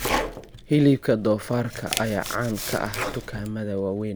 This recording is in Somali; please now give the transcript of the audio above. Hilibka doofaarka ayaa caan ka ah dukaamada waaweyn.